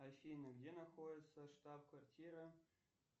афина где находится штаб квартира